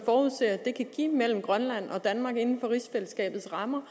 forudser det kan give mellem grønland og danmark inden for rigsfællesskabets rammer